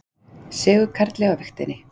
Sigurkarli á vigtinni.